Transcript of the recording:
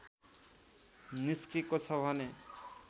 निस्केको छ भने